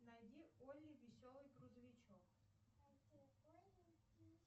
найди олли веселый грузовичок